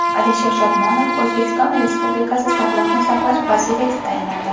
Alisher Shodmonov O‘zbekiston Respublikasi Sog‘liqni saqlash vaziri etib tayinlandi.